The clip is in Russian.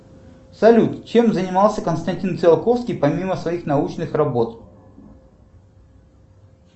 салют чем занимался константин циолковский помимо своих научных работ